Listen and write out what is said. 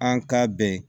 An ka bɛn